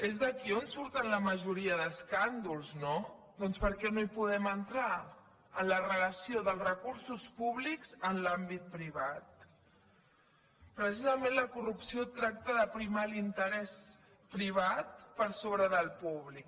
és d’aquí d’on surten la majoria d’escàndols no doncs per què no hi podem entrar en la relació dels recursos públics en l’àmbit privat precisament la corrupció tracta de primar l’interès privat per sobre del públic